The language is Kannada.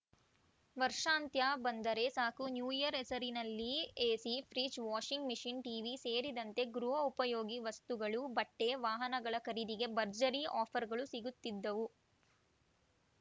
ವರ್ಷಾಂತ್ಯ ಬಂದರೆ ಸಾಕು ನ್ಯೂಇಯರ್‌ ಹೆಸರಿನಲ್ಲಿ AC fridge washing machine TV ಸೇರಿದಂತೆ ಗೃಹ ಉಪಯೋಗಿ ವಸ್ತುಗಳು ಬಟ್ಟೆ ವಾಹನಗಳ ಖರೀದಿಗೆ ಭರ್ಜರಿ ಆಫರ್‌ಗಳು ಸಿಗುತ್ತಿದ್ದವು